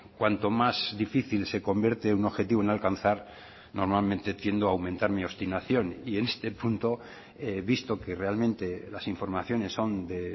cuanto más difícil se convierte un objetivo en alcanzar normalmente tiendo a aumentar mi obstinación y en este punto visto que realmente las informaciones son de